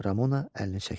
Ramona əlini çəkdi.